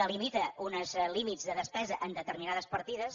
delimita uns límits de despesa en determinades partides